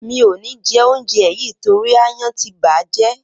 Mi ò ní jẹ óúnjẹ yìì torí aáyán ti bà á jẹ́.